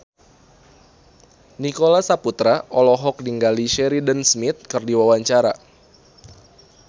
Nicholas Saputra olohok ningali Sheridan Smith keur diwawancara